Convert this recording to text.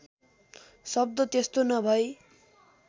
शब्द त्यस्तो नभई